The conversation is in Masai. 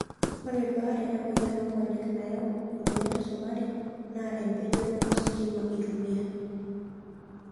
Ore baare emoyian oonkonyek nayau emoyian esukari naa empejoto ositima eitumiyai.